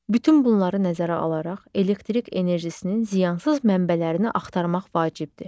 Bütün bunları nəzərə alaraq, elektrik enerjisinin ziyansız mənbələrini axtarmaq vacibdir.